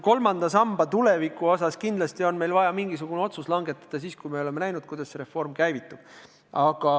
Kolmanda samba tuleviku kohta on meil kindlasti vaja mingisugune otsus langetada, kui oleme näinud, kuidas see reform käivitub.